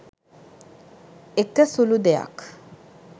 එක සුළු දෙයක්